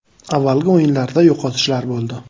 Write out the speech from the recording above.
Avvalgi o‘yinlarda yo‘qotishlar bo‘ldi.